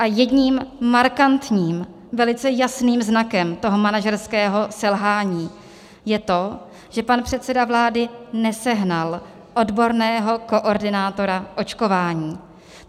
A jedním markantním, velice jasným znakem toho manažerského selhání je to, že pan předseda vlády nesehnal odborného koordinátora očkování.